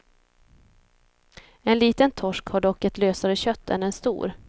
En liten torsk har dock ett lösare kött än en stor.